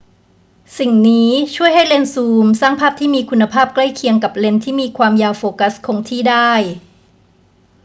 สิ่งนี้ช่วยให้เลนส์ซูมสร้างภาพที่มีคุณภาพใกล้เคียงกับเลนส์ที่มีความยาวโฟกัสคงที่ได้